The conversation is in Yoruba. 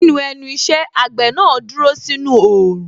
Ní ẹnu iṣẹ́, àgbẹ̀ náà dúró sínú Òòrùn